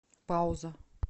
пауза